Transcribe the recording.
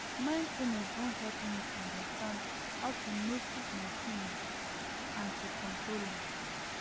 mindfulness don help me understand how to notice my feelings and to control am